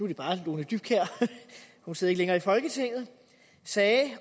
det bare lone dybkjær hun sidder ikke længere i folketinget sagde